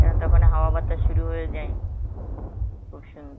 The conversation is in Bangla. এখন তো ওখানে হাওয়া বাতাস শুরু হয়ে যায়, খুব সুন্দর.